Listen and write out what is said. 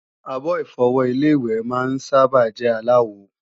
Àbo-Ìfọwọ́ Ilé-ìwẹ̀ máa ń sábà jẹ́ aláwo